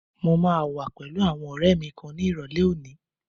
Mo máa wà pẹ̀lú àwọn ọ̀rẹ́ẹ mi kan ni ìrọ̀lẹ́ òní.